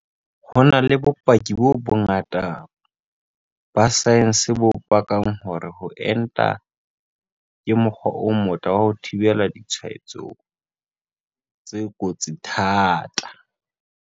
Ho na le bopaki bo bongata ba saense bo pakang hore ho enta ke mokgwa o motle wa ho thibela ditshwaetso tse kotsi thata.